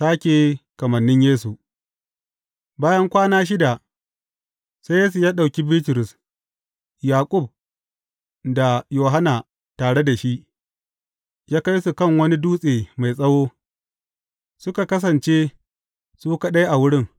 Sāke kamannin Yesu Bayan kwana shida, sai Yesu ya ɗauki Bitrus, Yaƙub da Yohanna tare da shi, ya kai su kan wani dutse mai tsawo, suka kasance su kaɗai a wurin.